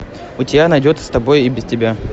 у тебя найдется с тобой и без тебя